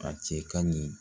A cɛ ka ɲi